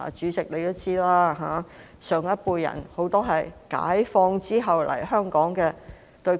主席也知道，很多上一輩人都是解放後來港的。